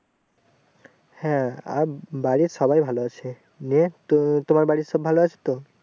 হ্যাঁ আর বাড়ির সবাই ভালো আছে নিয়ে তো তোমার বাড়ির সবাই ভালো আছে তো?